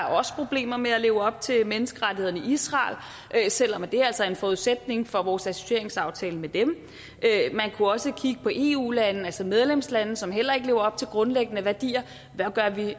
også problemer med at leve op til menneskerettighederne i israel selv om det altså er en forudsætning for vores associeringsaftale med dem man kunne også kigge på eu lande altså medlemslande som heller ikke lever op til grundlæggende værdier hvad gør vi